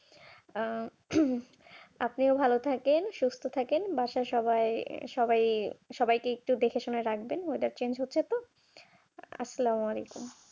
আপনিও ভালো থাকেন সুস্থ থাকেন বাসার সবাই সবাই সবাইকে একটু দেখে শুনে রাখবেন